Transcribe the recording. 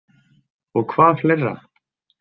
Og hvað fleira?